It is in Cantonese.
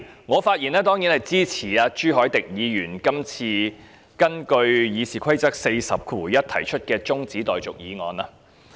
我發言當然是支持朱凱廸議員根據《議事規則》第401條提出的中止待續議案。